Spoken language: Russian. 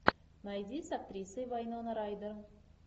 найди с актрисой вайнона райдер